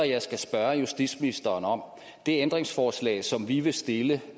jeg skal spørge justitsministeren om det ændringsforslag som vi vil stille